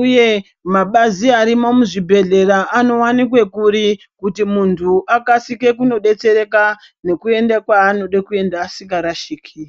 uye mabazi arimo muzvibhedhlera anowanikwe kuri, kuti muntu akasike kunobetsereka nekuende kwaanode kuenda asikarashiki.